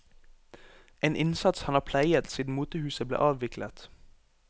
En innsats han har pleiet siden motehuset ble avviklet.